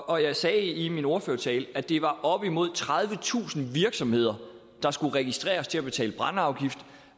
og jeg sagde i min ordførertale at det var op imod tredivetusind virksomheder der skulle registreres til at betale brændeafgift